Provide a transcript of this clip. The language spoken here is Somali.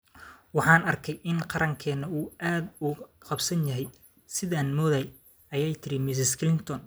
"Waxaan aragnay in qarankeena uu aad uga qaybsan yahay sidii aan moodayay", ayay tiri Mrs. Clinton.